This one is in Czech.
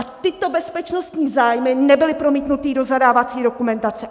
A tyto bezpečnostní zájmy nebyly promítnuty do zadávací dokumentace!